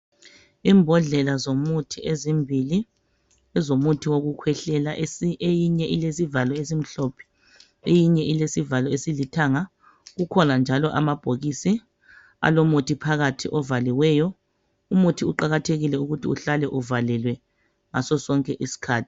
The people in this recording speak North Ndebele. Imbodlela zomuthi ezimbili ngezomuthi wokukhwehlela eyinye ilesivalo esimhlophe eyinye ilesivalo esilithanga kukhona njalo amabhokisi alomuthi phakathi ovaliweyo, umuthi uqakathekile ukuthi uhlale uvalelwe ngaso sonke isikhathi.